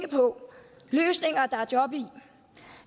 på løsninger der er job i